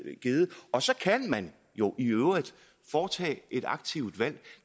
og så kan man jo i øvrigt foretage et aktivt valg